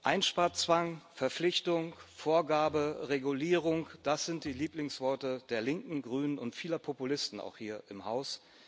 Einsparzwang, Verpflichtung, Vorgabe, Regulierung das sind die Lieblingsworte der Linken, Grünen und vieler Populisten, auch hier im Haus.